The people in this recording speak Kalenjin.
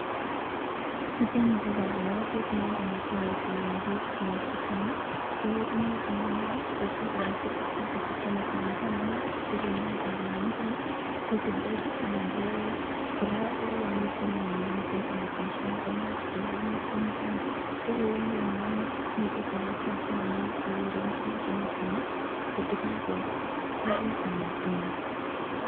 Niteni ko kalolset noton netoreti bik chechang, imuch kokelal tukuk choton chekyome sanasana tukuk chekilole kabilani ko githeri anan ko yamiten any function ko imuch kilal maat kou niteni, agree kora seketyat nondon nekigeren tukuk chemiten maa kot kokarurya anan tomo.